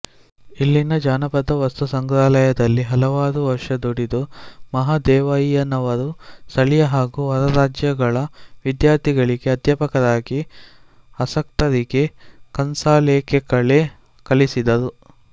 ಇಲ್ಲಿನ ಜಾನಪದ ವಸ್ತುಸಂಗ್ರಹಾಲಯದಲ್ಲಿ ಹಲವಾರು ವರ್ಷ ದುಡಿದು ಮಹಾದೇವಯ್ಯನವರು ಸ್ಥಳೀಯ ಹಾಗೂ ಹೊರರಾಜ್ಯಗಳ ವಿದ್ಯಾರ್ಥಿಗಳಿಗೆ ಅಧ್ಯಾಪಕರಿಗೆ ಆಸಕ್ತರಿಗೆ ಕಂಸಾಳೆಕಲೆ ಕಲಿಸಿದರು